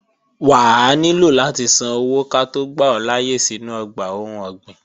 Wà á nílò láti san owó ká tó gbà ọ́ láyé sínú ọgbà ohun ọ̀gbìn